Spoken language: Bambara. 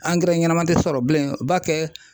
Angɛrɛ ɲɛnama tɛ sɔrɔ bilen, u ba kɛ